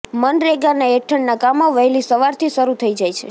મનરેગાના હેઠળના કામો વહેલી સવારથી શરૂ થઇ જાય છે